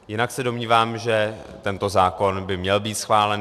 Jinak se domnívám, že tento zákon by měl být schválen.